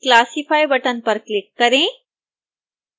classify button पर click करें